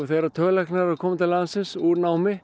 þegar taugalæknar eru að koma til